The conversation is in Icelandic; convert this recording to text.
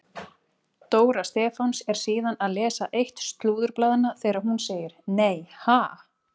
Dóra Stefáns er síðan að lesa eitt slúðurblaðanna þegar hún segir: Nei ha?